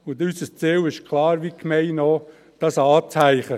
Unser Ziel ist klar – wie auch das der Gemeinde –, dieses anzuhängen.